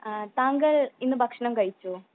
താങ്കൾ ഇന്ന് ഭക്ഷണം കഴിച്ചോ